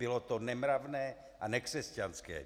Bylo to nemravné a nekřesťanské.